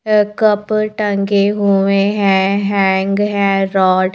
cup टंगे हुए हैं हैंग हैं रोड --